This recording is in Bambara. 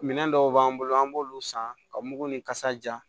Minɛn dɔw b'an bolo an b'olu san ka mugu ni kasa ja